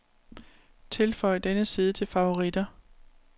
Tilføj denne side til favoritter.